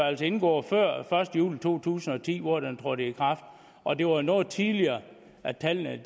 altså indgået før første juli to tusind og ti hvor den trådte i kraft og det var jo noget tidligere at tallene